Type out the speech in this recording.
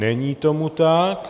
Není tomu tak.